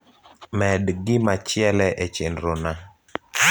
med gimachiele e chenro na